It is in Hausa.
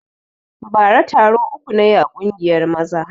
Bara taro uku na yi a ƙungiyar maza